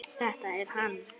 Þetta er hann.